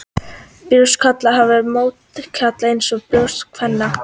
Brjóst karla hafa mjólkurkirtla eins og brjóst kvenna.